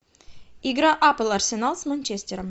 игра апл арсенал с манчестером